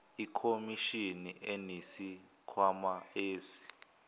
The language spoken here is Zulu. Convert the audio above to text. ikhomishini inesikhwama esi